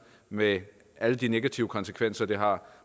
med alle de negative konsekvenser det har